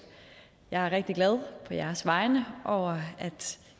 jeg er rigtig glad på jeres vegne over at